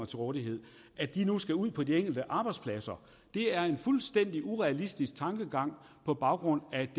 til rådighed nu skal ud på de enkelte arbejdspladser det er en fuldstændig urealistisk tankegang på baggrund af